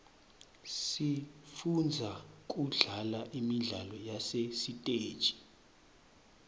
sifundza kudlala imidlalo yasesiteji